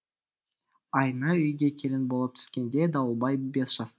айна үйге келін болып түскенде дауылбай бес жаста